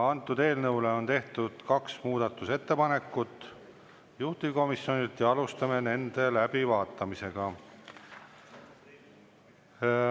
Eelnõu kohta on tehtud kaks muudatusettepanekut juhtivkomisjonilt ja alustame nende läbivaatamist.